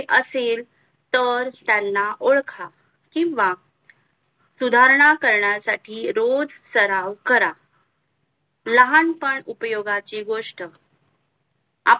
तर त्यांना ओळख किंवा सुधारणा करण्यासाठी रोज सर्व करा लहानपण उपयोगाची गोष्ट